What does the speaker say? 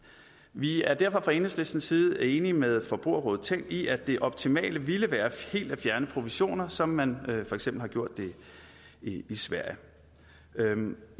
vi er derfor fra enhedslistens side enige med forbrugerrådet tænk i at det optimale ville være helt at fjerne provisioner som man for eksempel har gjort det i sverige